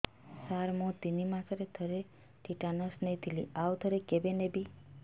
ସାର ମୁଁ ତିନି ମାସରେ ଥରେ ଟିଟାନସ ନେଇଥିଲି ଆଉ ଥରେ କେବେ ନେବି